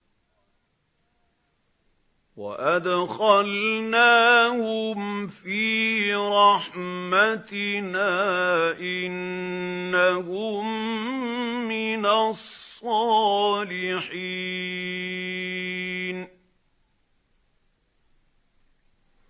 وَأَدْخَلْنَاهُمْ فِي رَحْمَتِنَا ۖ إِنَّهُم مِّنَ الصَّالِحِينَ